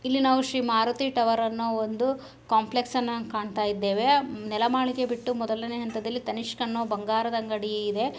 ಇಲ್ಲಿ ನಾವು ಶ್ರೀ ಮಾರುತಿ ಟವರ್ ಅನ್ನೋ ಒಂದು ಕಾಂಪ್ಲೆಕ್ಸ್ ಅನ್ನ ಕಾಂತಾ ಇದ್ದೆವೆ ನೆಲ ಮಾಳಿಗೆ ಬಿಟ್ಟು ಮೊದಲನೇ ಹಂತದಲ್ಲಿ ತನಿಷ್ಕ್ ಅನ್ನೋ ಬಂಗಾರದ ಅಂಗಡಿ ಇದೆ.